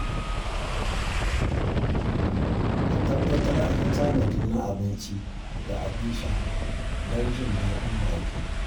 A tabbatar an yi tanadi na abinci da abin sha don jin daɗin baƙi.